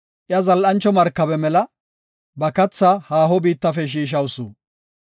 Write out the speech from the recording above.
Iya zal7anchota markabe mela; ba kathaa haaho biittafe shiishawusu.